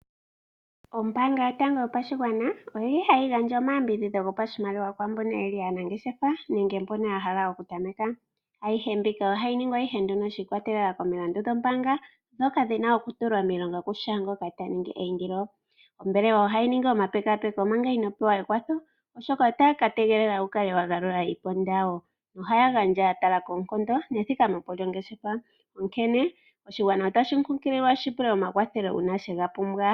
Ombaanga yotango yopashigwana oyili hayi gandja omayambidhidho gopashimaliwa kwaambono yeli aanangeshefa nenge kwaambono yeli yahala okutameka. Aihe mbika ohayi ningwa nduno shiikwatelela komilandu dhombaanga , ndhoka dhina okutulwa miilonga kushaa ngoka ta ningi eindilo. Ombelewa ohayi ningi omapekapeko omanga inoo pewa ekwatho oshoka otaya kategelela wukale wagalula iiponda yawo. Ohaya gandja yatala koonkondo nethikameko lyongeshefa . Onkene oshigwana otashi kunkililwa okupula omakwatho ngele yega pumbwa.